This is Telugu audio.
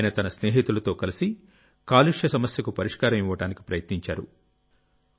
ఆయన తన స్నేహితులతో కలిసి కాలుష్య సమస్యకు పరిష్కారం ఇవ్వడానికి ప్రయత్నించారు